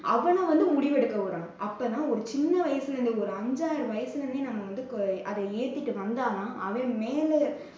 அவனை வந்து முடிவெடுக்க விடணும். அப்போ தான் ஒரு சின்ன வயசுல ஒரு அஞ்சாறு வயசுலேயே நம்ம வந்து அதை ஏத்திட்டு வந்ததாதான், அவன் மேல